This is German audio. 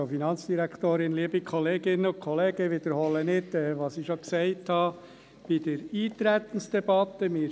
Ich wiederhole nicht, was ich bereits in der Eintretensdebatte gesagt habe.